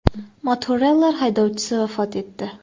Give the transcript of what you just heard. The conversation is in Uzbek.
Motoroller haydovchisi vafot etdi.